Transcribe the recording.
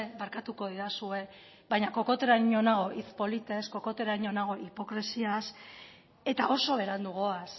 barkatuko didazue baina kokoteraino nago hitz politez kokoteraino nago hipokresiaz eta oso berandu goaz